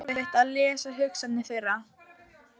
Það var erfitt að lesa hugsanir þeirra.